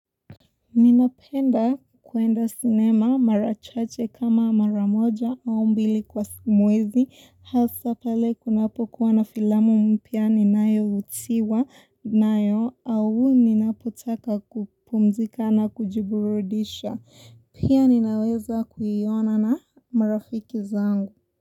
Ninapenda kuenda sinema mara chache kama mara moja au mbili kwa mwezi hasa pale kunapokuwa na filamu mpya nayovutiwa nayo au ninapotaka kupumzika na kujiburudisha pia ninaweza kuiona na marafiki zangu.